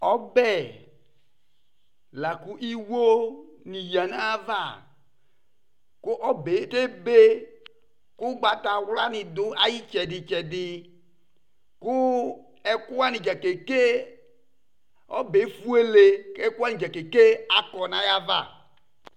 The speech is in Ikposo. Ɔbɛ la kʋ iwonɩ yǝ nʋ ayava kʋ ɔbɛ tebe kʋ ʋgbatawlanɩ dʋ ayʋ ɩtsɛdɩ-tsɛdɩ Kʋ ɛkʋ wanɩ dza keke Ɔbɛ yɛ efuele kʋ ɛkʋ wanɩ dza keke akɔ nʋ ayava